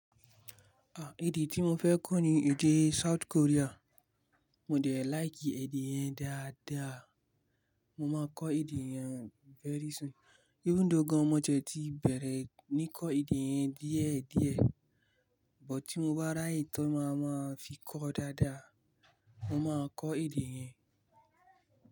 À, èdè tí mo fẹ́ kọ ní èdè South Korea. Mo dẹ̀ like èdè yẹn dáadáa. Mo máa kọ èdè yẹn very soon. Even though gan mo tiẹ ti bẹ̀rẹ̀ ní kọ èdè yẹn díẹ̀díẹ̀, bọ̀ tí mo bá ràye tàn máa ma fi kọ dáadáa. Mo máa kọ èdè yẹn.